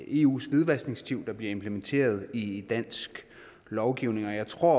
eus hvidvaskdirektiv der bliver implementeret i dansk lovgivning jeg tror